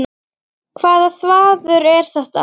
Hvaða þvaður er þetta?